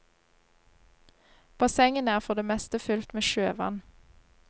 Bassengene er for det meste fylt med sjøvann.